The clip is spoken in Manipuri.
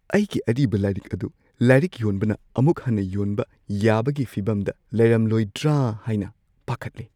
ꯑꯩꯒꯤ ꯑꯔꯤꯕ ꯂꯥꯏꯔꯤꯛ ꯑꯗꯨ ꯂꯥꯏꯔꯤꯛ ꯌꯣꯟꯕꯅ ꯑꯃꯨꯛ ꯍꯟꯅ ꯌꯣꯟꯕ ꯌꯥꯕꯒꯤ ꯐꯤꯚꯝꯗ ꯂꯩꯔꯝꯂꯣꯢꯗ꯭ꯔ ꯍꯥꯏꯅ ꯄꯥꯈꯠꯂꯤ꯫